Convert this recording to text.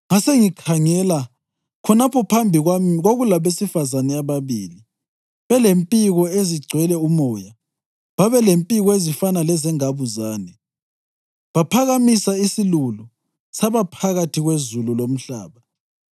Ngasengikhangela, khonapho phambi kwami kwakulabesifazane ababili belempiko ezigcwele umoya! Babelempiko ezifana lezengabuzane, baphakamisa isilulu saba phakathi kwezulu lomhlaba.